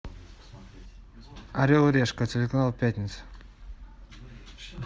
орел и решка телеканал пятница